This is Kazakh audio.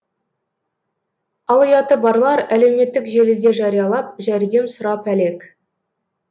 ал ұяты барлар әлеуметтік желіде жариялап жәрдем сұрап әлек